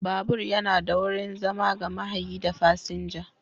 Babur yana da wurin zama ga mahayi da fasinja.